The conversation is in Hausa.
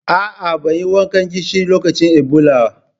A'a, ban yi wankan gishiri lokacin Ebola.